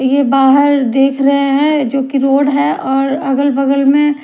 ये बाहर देख रहे हैं जो की रोड है और अगल बगल में--